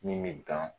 Min bɛ ban